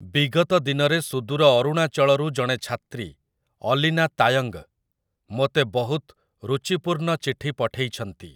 ବିଗତ ଦିନରେ ସୁଦୂର ଅରୁଣାଚଳରୁ ଜଣେ ଛାତ୍ରୀ, ଅଲିନା ତାୟଙ୍ଗ୍, ମୋତେ ବହୁତ ଋଚିପୂର୍ଣ୍ଣ ଚିଠି ପଠେଇଛନ୍ତି ।